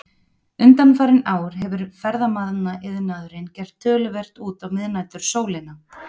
Undanfarin ár hefur ferðamannaiðnaðurinn gert töluvert út á miðnætursólina.